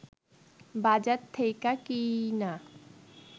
বাজার থেইকা কিইনা